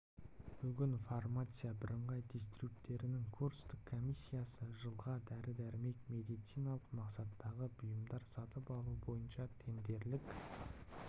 бүгін фармация бірыңғай дистрибьютерінің конкурстық комиссиясы жылға дәрі-дәрмек пен медициналық мақсаттағы бұйымдар сатып алу бойынша тендерлік